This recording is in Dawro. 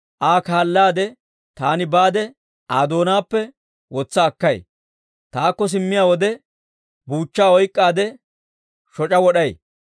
Aa kaallaade taani baade Aa doonaappe wotsa akkay; taakko simmiyaa wode, buuchchaa oyk'k'aade, shoc'a wod'ay.